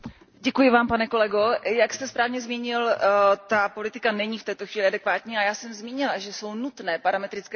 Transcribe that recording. Pane kolego, jak jste správně zmínil, ta politika není v této chvíli adekvátní a já jsem zmínila, že jsou nutné parametrické změny.